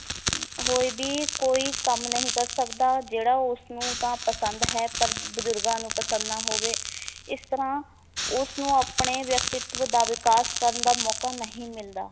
ਹੋਏ ਵੀ ਕੋਈ ਕੰਮ ਨਹੀਂ ਕਰ ਸਕਦਾ ਜਿਹੜਾ ਉਸਨੂੰ ਤਾਂ ਪਸੰਦ ਹੈ ਪਰ ਬੁਜ਼ੁਰਗਾਂ ਨੂੰ ਪਸੰਦ ਨਾ ਹੋਵੇ ਇਸ ਤਰਾਂ ਉਸਨੂੰ ਆਪਣੇ ਵਿਅਕਤਿਤਵ ਦਾ ਵਿਕਾਸ ਕਰਨ ਦਾ ਮੌਕਾ ਨਹੀਂ ਮਿਲਦਾ,